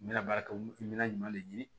N bɛna baara kɛ n bɛna ɲuman de ɲini